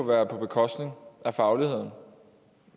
være på bekostning af fagligheden